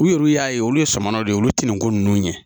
U yɛrɛ y'a ye olu ye samananaw ye olu ti nin ko ninnu ɲɛ